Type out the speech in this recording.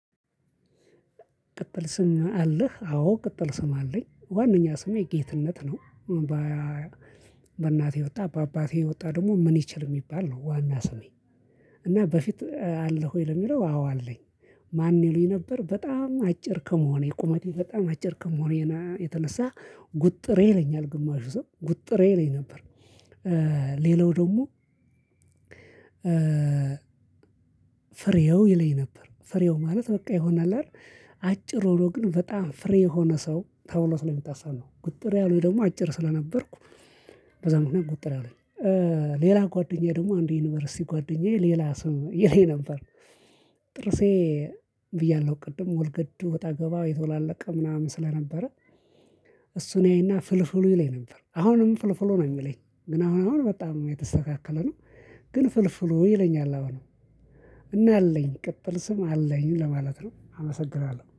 ቅጥል ስም አለህ? አዎ ቅጥል ስም አለኝ ዋነኛ ስሜ ጌትነት ነው። በእናቴ ወጣ በአባቴ ወጣ ደግሞ ምን ይችል የሚባል ነው ዋና ስሜ። እና በፊት አለህ ወይ ለሚለው አዎ አለኝ። ማን ይሉኝ ነበር በጣም አጭር ከመሆኔ ቁመቴ በጣም አጭር ከመሆኔ የተነሳ ጉጥሬ ይለኛል ግማሹ ሰው ጉጥሬ ይለኝ ነበር። ሌላው ደግሞ ፍሬው ይለኝ ነበር። ፍሬው ማለት በቃ ይሆናል አይደል አጭር ሆኖ ግን በጣም ፍሬ የሆነ ሰው ተብሎ ስለሚታሰብ ነው። ጉጥር ያሉኝ ደግሞ አጭር ስለነበርኩ- በዛ ምክንያት ጉጥር አለኝ። ሌላ ጓደኛዬ ደግሞ አንድ ዩኒቨርሲቲ ጓደኛዬ ሌላ ስም ይለኝ ነበር። ጥርሴ ብያለሁ ቅድም ወልገድ ወጣ ገባ የተወላለቀ ምናምን ስለነበረ- እሱን ያይና ፍልፍሉ ይለኝ ነበር። አሁንም ፍልፍሉ ነው የሚለኝ። ግን አሁን አሁን በጣም የተስተካከለ ነው። ግን ፍልፍሉ ይለኛል አሁንም እና አለኝ ቅጥል ስም አለኝ ለማለት ነው። አመሰግናለሁ።